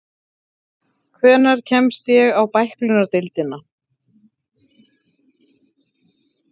Hvenær kemst ég á bæklunardeildina?